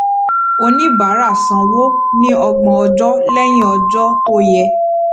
oníbàárà sanwó ní ọgbọn ọjọ lẹyìn ọjọ tó yẹ